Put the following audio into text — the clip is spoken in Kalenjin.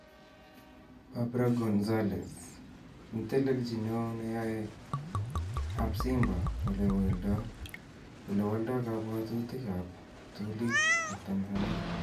Barbara Gonzalez: Netelechi neo neyae ab Simba olewolda kabwatutik ab ptulit ab Tanzania.